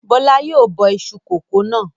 Bọ́lá yóò bọ iṣu kòkó náà.